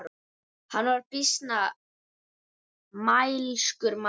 Hann var býsna mælskur maður.